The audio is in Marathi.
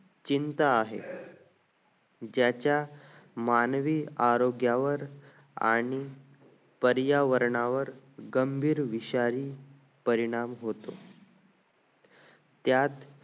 चिंता आहे ज्याच्या मानवी आरोग्यावर आणि पर्यावरणावर गंभीर विषारी परिणाम होते त्यात